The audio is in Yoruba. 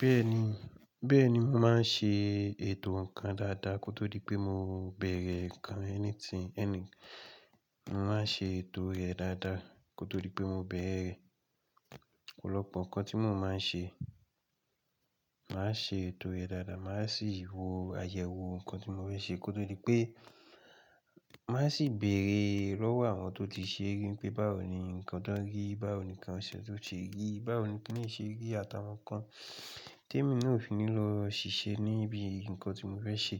Bẹ́ẹ̀ni, bẹ́ẹ̀ni mo máa ń ṣe ètò nǹkan dáadáa kó tó rí pé mo bẹ̀rẹ̀ nǹkan anything ẹni. Mo máa ń ṣe ètò rẹ̀ dáadáa kó tó rí pé mo bẹ̀rẹ̀. Ọ̀pọ̀lọpọ̀ nǹkan tí mo máa ń ṣe, màá ṣe ètò rẹ̀ dáadáa. Màá sì wo àyẹ̀wò nǹkan tí mo fẹ́ ṣe kó tó rí pé, màá sì bèèrè lọ́wọ́ àwọn tó ti ṣe rí pé báwo ni nǹkan dán rí, báwo ni nǹkan ṣe tó ṣe rí, báwo ni kí n lè ṣe rí àtàwọn nǹkan tí èmi náà ò fi ní lọ ṣiṣẹ́ níbi nǹkan tí mo fẹ́ ṣe.